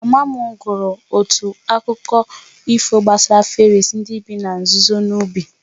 Mama m gụrụ otu akụkọ ifo gbasara fèris ndị bi na nzuzo n'ubi